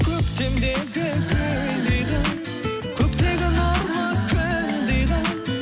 көктемдегі гүлдей қыз көктегі нұрлы күндей қыз